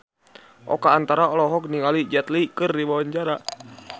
Oka Antara olohok ningali Jet Li keur diwawancara